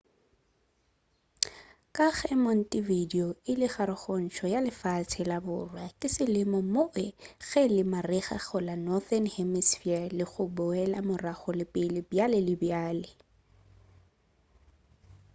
ka ge montevideo e le karogantšho ya lefase ya borwa ke selemo moo ge e le marega go la northern hemispher le go boela morago le pele bjale le bjale